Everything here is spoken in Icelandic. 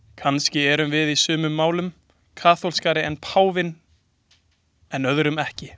Kannski erum við í sumum málum kaþólskari en páfinn en öðrum ekki.